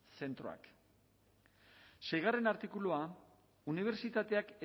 zentroak seigarrena artikulua unibertsitateak